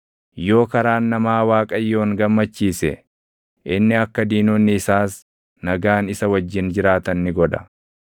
Yoo karaan namaa Waaqayyoon gammachiise, inni akka diinonni isaas nagaan isa wajjin jiraatan ni godha.